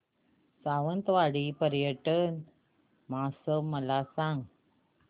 सावंतवाडी पर्यटन महोत्सव मला सांग